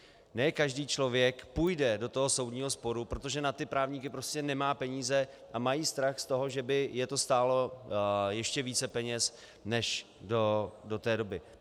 Ne každý člověk půjde do toho soudního sporu, protože na ty právníky prostě nemá peníze a mají strach z toho, že by je to stálo ještě více peněz než do té doby.